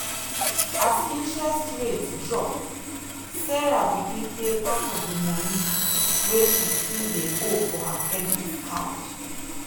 as interest rate drop sarah begin pay part of the money wey she still dey owe for her credit card.